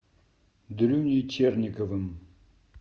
дрюней черниковым